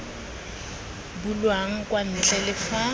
bulwang kwa ntle le fa